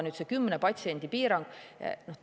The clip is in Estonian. Nüüd see 10 patsiendi piirang.